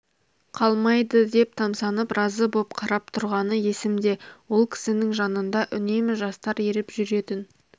қалмайды деп тамсанып разы боп қарап тұрғаны есімде ол кісінің жанында үнемі жастар еріп жүретін